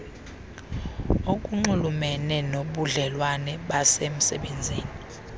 okunxulumene nobudlelwane basemsebenzini